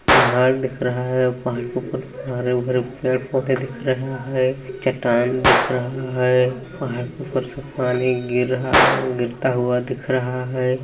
पहाड़ दिख रहा है पहाड़ के ऊपर घर है ऊपर पेड़-पौधे दिख रहे चट्टान दिख रहा है पहाड़ के ऊपर से पानी गिर रहा गिरता हुआ दिख रहा है।